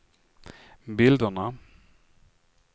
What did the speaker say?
bilderna